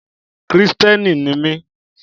Kìrìtẹ́ẹ́nì ni mí.